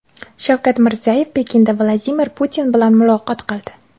Shavkat Mirziyoyev Pekinda Vladimir Putin bilan muloqot qildi.